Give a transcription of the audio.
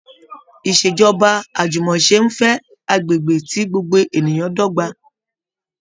Ìṣèjọba àjùmọ̀ṣe ń fẹ́ agbègbè tí gbogbo ènìyàn dọ́gba